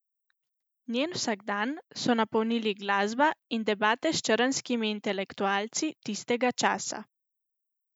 Njen vsakdan so napolnili glasba in debate s črnskimi intelektualci tistega časa.